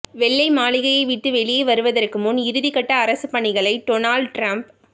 வெள்ளை மாளிகையை விட்டு வெளியே வருவதற்கு முன் இறுதி கட்ட அரசு பணிகளை டொனால்ட் டிரம்ப்